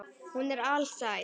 Hún er alsæl.